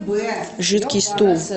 жидкий стул